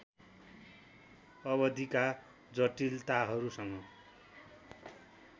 अवधिका जटिलताहरूसँग